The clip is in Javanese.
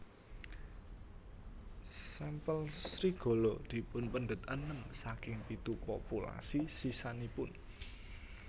Sampel serigala dipunpendet enem saking pitu populasi sisanipun